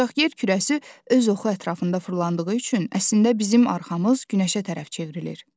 Ancaq yer kürəsi öz oxu ətrafında fırlandığı üçün, əslində bizim arxamız günəşə tərəf çevrilir.